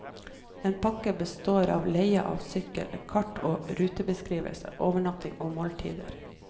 En pakke består av leie av sykkel, kart og rutebeskrivelse, overnatting og måltider.